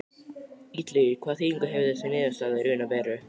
Illugi, hvaða þýðingu hefur þessi niðurstaða í raun og veru?